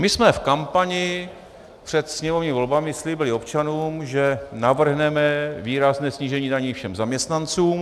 My jsme v kampani před sněmovními volbami slíbili občanům, že navrhneme výrazné snížení daní všem zaměstnancům.